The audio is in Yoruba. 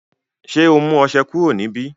ṣe ọ mú ọṣẹ kúrò níbí